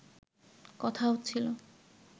কথা হচ্ছিল